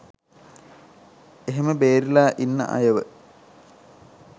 ඒහෙම බේරිලා ඉන්න අයව